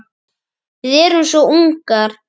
Við erum svo ungar.